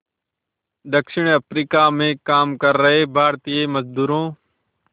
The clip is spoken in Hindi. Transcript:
दक्षिण अफ्रीका में काम कर रहे भारतीय मज़दूरों